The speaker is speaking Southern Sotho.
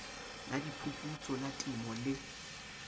la diphuputso la temo le